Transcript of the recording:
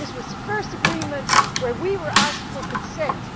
It was the first agreement on which we were asked for consent.